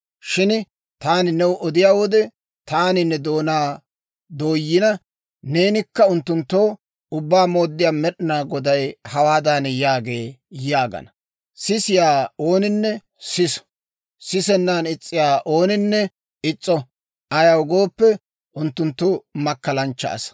Shin taani new odiyaa wode, taani ne doonaa dooyina, neenikka unttunttoo, ‹Ubbaa Mooddiyaa Med'inaa Goday hawaadan yaagee› yaagana. Sisiyaa ooninne siso; sisennan is's'iyaa ooninne is's'o. Ayaw gooppe, unttunttu makkalanchcha asaa.